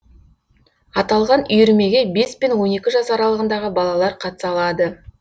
аталған үйірмеге бес пен он екі жас аралығындағы балалар қатыса алады